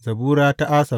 Zabura ta Asaf.